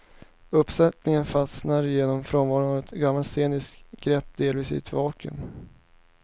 Uppsättningen fastnar genom frånvaron av ett samlat sceniskt grepp delvis i ett vakuum.